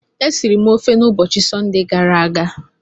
E siri m ofe n'ubochi Sọnde gara aga.